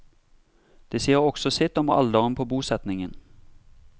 Det sier også sitt om alderen på bosetningen.